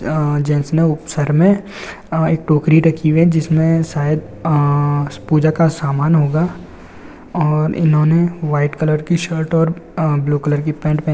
आ gents ने सर मैं एक टोकरी रखी हुए है। जिसमे सायद आ पूजा का सामान होगा। आ इन्होने वाइट कलर की शर्ट और ब्लू कलर का पेंट --